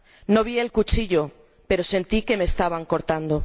No vi el cuchillo, pero sentí que me estaban cortando.